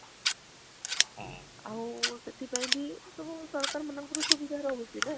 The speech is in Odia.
ଆଉ ସେଥିପାଇଁ ବି ସବୁ ସରକାର ମାନକଙ୍କ ସୁବିଧା ରହଛି ନା?